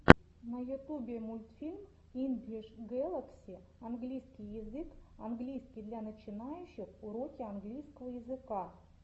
на ютубе мультфильм инглиш гэлакси английский язык английский для начинающих уроки английского языка